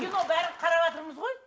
кино бәрін қараватырмыз ғой